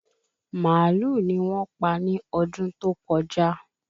màálù ni wón pa ni ọdún tó kọjá